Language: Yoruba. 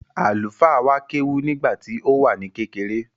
Àlùfáà wa kéwú nígbà tí ó wà ní kékeré.